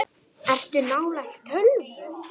Ertu nálægt tölvu?